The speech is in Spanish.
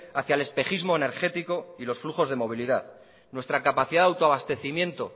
hacia el espejismo energético y los flujos de movilidad nuestra capacidad de autoabastecimiento